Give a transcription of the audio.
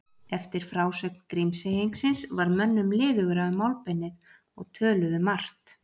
Eftir frásögn Grímseyingsins varð mönnum liðugra um málbeinið og töluðu margt.